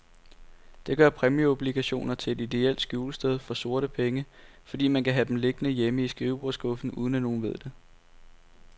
Det gør præmieobligationer til et ideelt skjulested for sorte penge, fordi man kan have dem liggende hjemme i skrivebordsskuffen, uden at nogen ved det.